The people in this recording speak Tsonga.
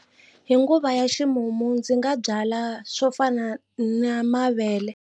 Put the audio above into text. Hi nguva ya ximumu ndzi nga byala swo fana na mavele.